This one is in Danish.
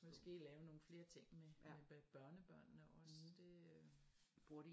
Måske lave nogle flere ting med børnebørnene også det øh